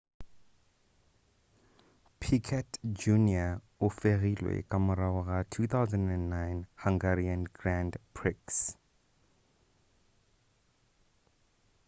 piquet jr o fegilwe ka morago ga 2009 hungarian grand prix